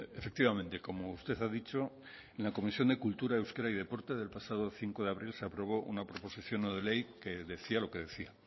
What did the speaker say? efectivamente como usted ha dicho en la comisión de cultura euskera y deporte del pasado cinco de abril se aprobó una proposición no de ley que decía lo que decía